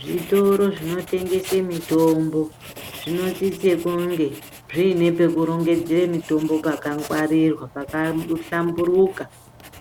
Zvitoro zvinotengesa mitombo zvinosisa kunge zviine pekurongedzera mitombo pakangwarirwa pakahlamburuka ,